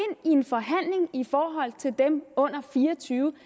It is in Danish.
i en forhandling i forhold til dem under fire og tyve